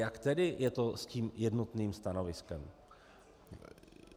Jak je to tedy s tím jednotným stanoviskem?